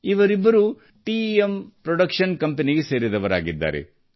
ಇವರಿಬ್ಬರೂ ಟೆಮ್ production company ಗೆ ಸೇರಿದವರಾಗಿದ್ದಾರೆ